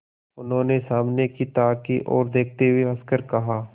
उन्होंने सामने की ताक की ओर देखते हुए हंसकर कहा